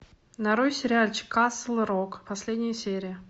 нарой сериальчик касл рок последняя серия